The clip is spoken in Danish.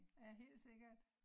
Ja helt sikkert